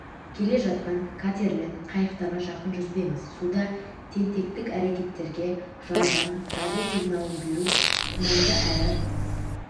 келе жатқан катер мен қайықтарға жақын жүзбеңіз суда тентектік әрекеттерге жалған дабыл сигналын беру тұманды әрі